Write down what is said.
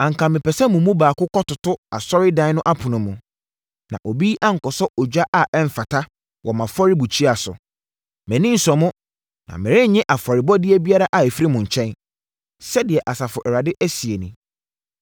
“Anka mepɛ sɛ mo mu baako kɔtoto asɔredan no apono mu, na obi ankɔsɔ ogya a ɛmfata wɔ mʼafɔrebukyia so! Mʼani nsɔ mo, na merennye afɔrebɔdeɛ biara a ɛfiri mo nkyɛn,” sɛdeɛ Asafo Awurade seɛ nie.